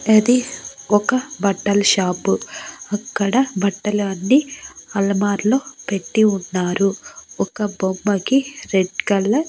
ఇది ఒక బట్టల్ షాపు అక్కడ బట్టలు అన్ని అల్మార్ లో పెట్టి ఉన్నారు ఒక బొమ్మకి రెడ్ కలర్ --